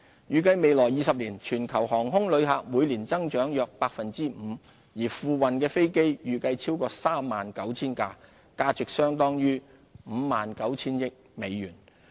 預計在未來20年，全球航空旅客每年增長約 5%， 而付運的飛機預計超過 39,000 架，價值相當於約 59,000 億美元。